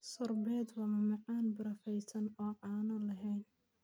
Sorbet waa macmacaan barafaysan oo aan caano lahayn.